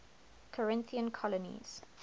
corinthian colonies